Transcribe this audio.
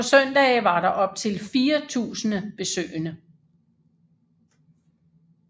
På søndage var der op til fire tusinde besøgende